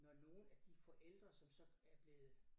Når nogle af de forældre som så er blevet